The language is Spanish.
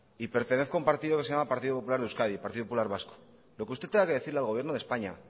y pertenezco que se llama partido popular de euskadi partido popular vasco lo que usted tenga que decirle al gobierno de españa